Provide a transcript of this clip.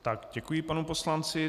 Tak, děkuji panu poslanci.